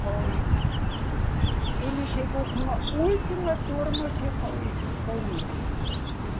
Foi. Ele chegou com a última turma que foi, foi livre.